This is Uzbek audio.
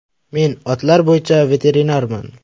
Men otlar bo‘yicha veterinarman.